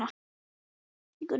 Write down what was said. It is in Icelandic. Hann gaf ekkert út á þessi orð.